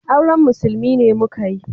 Auren musulmi ne muka yi